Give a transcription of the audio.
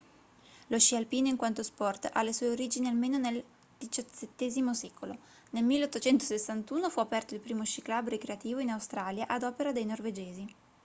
lo sci alpino in quanto sport ha le sue origini almeno nel xvii secolo nel 1861 fu aperto il primo sci club ricreativo in australia ad opera dei norvegesi